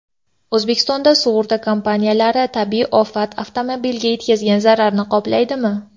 O‘zbekistonda sug‘urta kompaniyalari tabiiy ofat avtomobilga yetkazgan zararni qoplaydimi?.